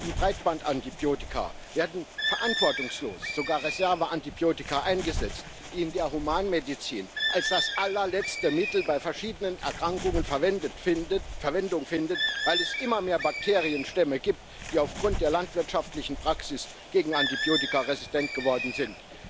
Neben Breitbandantibiotika werden verantwortungslos sogar Reserveantibiotika eingesetzt, die in der Humanmedizin als das allerletzte Mittel bei verschiedenen Erkrankungen Verwendung finden, weil es immer mehr Bakterienstämme gibt, die aufgrund der landwirtschaftlichen Praxis gegen Antibiotika resistent geworden sind.